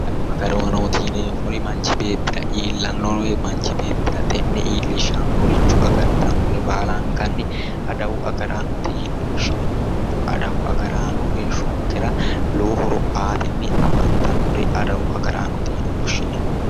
adawu agaraanooti yineemmori manchi beettira iillannore woyi manchi beettira xe'ne iillishannore agartannore baala adawu agaraanooti yineemmo kuriuu adawu agaraano manchi beettira lowo horo aatenni afantannore adawu agaraanooti yine woshshineemmo.